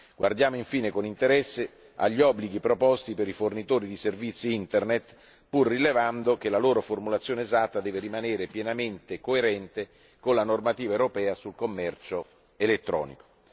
Guardiamo infine con interesse agli obblighi proposti per i fornitori di servizi Internet, pur rilevando che la loro formulazione esatta deve rimanere pienamente coerente con la normativa europea sul commercio elettronico.